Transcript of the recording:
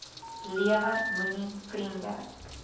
lewe moenie vriende